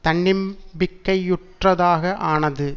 தன்னம்பிக்கையுற்றதாக ஆனது